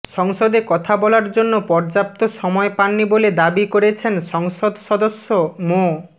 সংসদে কথা বলার জন্য পর্যাপ্ত সময় পাননি বলে দাবি করেছেন সংসদ সদস্য মো